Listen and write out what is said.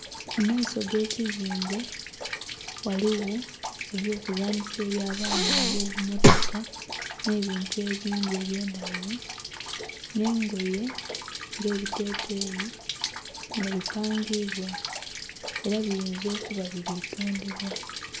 Mu maiso g'ekizimbe ghaligho eby'okuzanhisa eby'abaana ng'obumotoka, nh'ebintu ebindhi eby'endhaghulo, nh'engoye ng'ebiteteeyi nga bipangiibwa. Era biyinza okuba nga bili tundhibwa.